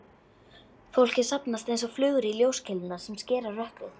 Fólkið safnast einsog flugur í ljóskeilurnar sem skera rökkrið.